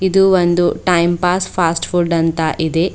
ಇದು ಒಂದು time pass fast food ಅಂತ ಇದೆ.